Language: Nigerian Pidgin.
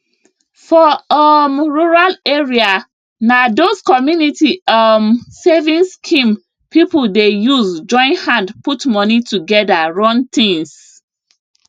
for um rural area na those community um savings scheme people dey use join hand put money together run things